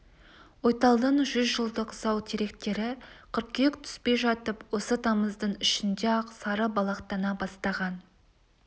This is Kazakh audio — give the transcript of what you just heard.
ойталдың жүз жылдық зау теректері қыркүйек түспей жатып осы тамыздың ішінде-ақ сары балақтана бастаған